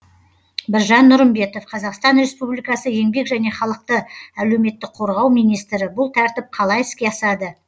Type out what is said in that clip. біржан нұрымбетов қазақстан республикасы еңбек және халықты әлеуметтік қорғау министрі бұл тәртіп қалай іске асады